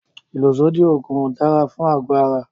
ìlòsódì òògùn ò dára fún ago ara.